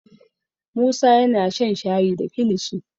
musa yana shan shayi da kilishi